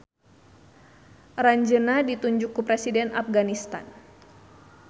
Aranjeunna ditunjuk ku Presiden Apganistan.